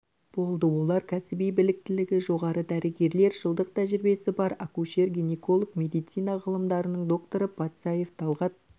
болды олар кәсіби біліктілігі жоғары дәрігерлер жылдық тәжірибесі бар акушер-гинеколог медицина ғылымдарының докторы патсаев талғат